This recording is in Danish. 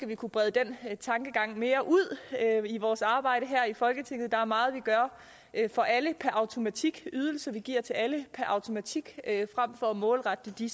vi kunne brede den tankegang mere ud i vores arbejde her i folketinget der er meget vi gør for alle per automatik ydelser vi giver til alle per automatik frem for at målrette det